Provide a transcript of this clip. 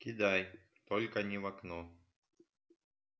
кидай только не в окно